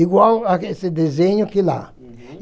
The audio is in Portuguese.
Igual esse desenho aqui lá.